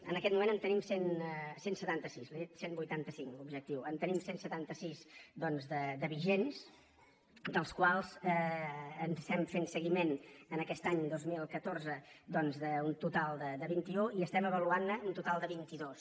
en aquest moment en tenim cent i setanta sis li he dit cent i vuitanta cinc objectiu en tenim cent i setanta sis doncs de vigents dels quals estem fent seguiment en aquest any dos mil catorze d’un total de vint un i estem avaluant ne un total de vint dos